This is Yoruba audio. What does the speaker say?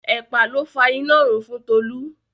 Ẹ̀pà ló fa inárun fún Tolú.